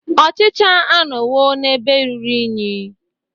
Ochicha anọwo n'ebe ruru unyi.